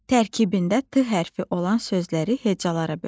Tərkibində T hərfi olan sözləri hecalara bölək.